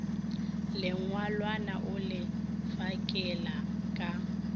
lengwalwana o le fakela ka